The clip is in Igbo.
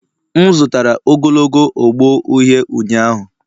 M zụtara ogologo ogbo uhie ụnyahụ.